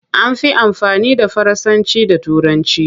An fi amfani da Faransanci da Turanci.